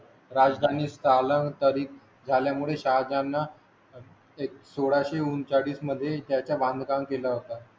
राजधानी स्थलांतरित झाल्या मुळे शाळांना सोळाशे एकोणचाळीस मध्ये त्याच्या बांधकाम केला होता.